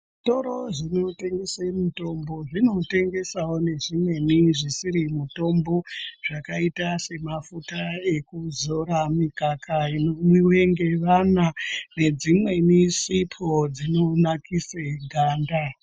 Zvitoro zvinotengese mitombo zvino zvinotengesavo nezvimweni zvisiri mutombo. Zvakaita semafuta ekuzora, mikaka inomwive ngevana nedzimweni sipo dzinonakise ganda.